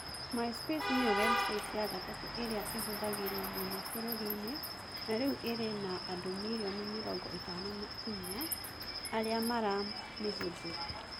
MySpace nĩyo webusaiti ya gatatũ ĩrĩa ĩhũthagĩrũo mũno bũrũri-inĩ na rĩu ĩrĩ na andũ mirioni mĩrongo ĩtano na inya [54] arĩa maramĩhũthĩra.